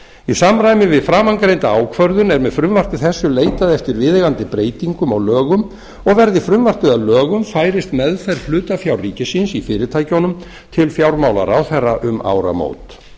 í samræmi við framangreinda ákvörðun er með frumvarpi þessu leitað eftir viðeigandi breytingum á lögum og verði frumvarpið að lögum færist meðferð hlutafjár ríkisins í fyrirtækjunum til fjármálaráðherra um áramót